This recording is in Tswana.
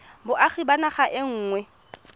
boagi ba naga e nngwe